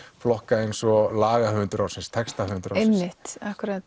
flokka eins og lagahöfundur ársins textahöfundur einmitt